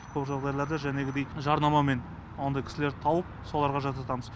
көп жағдайларда жәнегідей жарнамамен ондай кісілерді тауып соларға жасатамыз